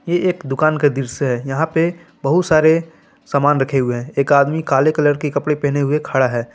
ये एक दुकान का दृश्य है यहां पे बहुत सारे सामान रखें हुए हैं एक आदमी काले कलर के कपड़े पेहने हुए खड़ा है।